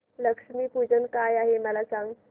लक्ष्मी पूजन काय आहे मला सांग